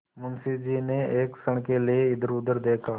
मुंशी जी ने एक क्षण के लिए इधरउधर देखा